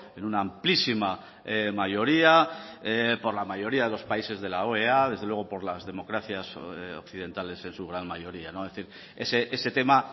en una amplísima mayoría por la mayoría de los países de la oea desde luego por las democracias occidentales en su gran mayoría es decir ese tema